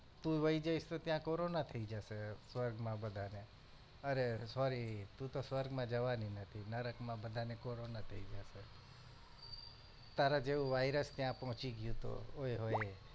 તું વહી જઈશ તો ત્યાં corona થઇ જશે સ્વર્ગ માં બધા ને અરે અરે સોરી તુ તો સ્વર્ગ માં જવાની નથી નરક માં બધાને કોરોના થઇ જાશે તારા જેવું virus ત્યાં પહોચી ગયું તો ઓય હોય